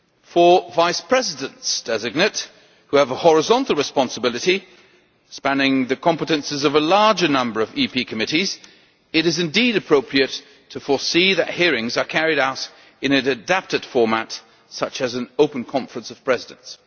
For Vice Presidents designate, who have a horizontal responsibility spanning the competences of a larger number of EP committees, it is indeed appropriate to foresee that hearings are carried out in an adapted format, such as an open Conference of Presidents.